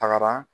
Tagara